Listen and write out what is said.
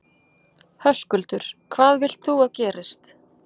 Höskuldur: Hvað vilt þú að gerist?